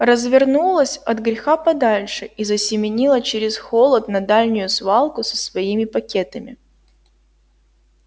развернулась от греха подальше и засеменила через холод на дальнюю свалку со своими пакетами